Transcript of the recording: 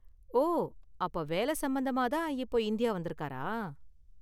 ஓ, அப்ப வேலை சம்பந்தமா தான் இப்போ இந்தியா வந்திருக்காரா?